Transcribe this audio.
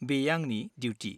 बेयो आंनि डिउटि।